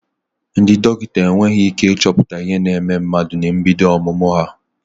Ndị dọkịta enweghị ị́ké ịchọpụta ihe na-eme mmadụ na mbido ọmụmụ ha.